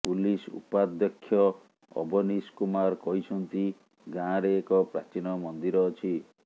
police ଉପାଧ୍ୟକ୍ଷ ଅବନୀଶ କୁମାର କହିଛନ୍ତି ଗାଁରେ ଏକ ପ୍ରାଚୀନ ମନ୍ଦିର ଅଛି